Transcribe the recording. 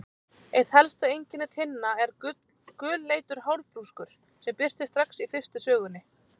Eitt helsta einkenni Tinna er gulleitur hárbrúskur sem birtist strax í fyrstu sögunni.